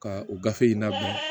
Ka o gafe in labɛn